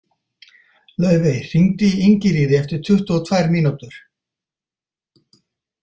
Laufey, hringdu í Ingiríði eftir tuttugu og tvær mínútur.